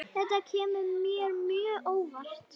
Þetta kemur mér mjög óvart.